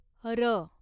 र